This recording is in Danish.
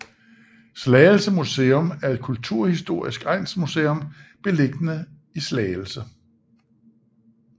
Slagelse Museum er et kulturhistorisk egnsmuseum beliggende i Slagelse